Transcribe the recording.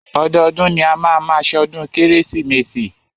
Ọdọọdún ni a máa má ṣọdún kérésìmesì.